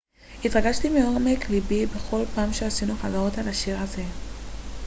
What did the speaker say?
התרגשתי מעומק לבי בכל פעם שעשינו חזרות על השיר הזה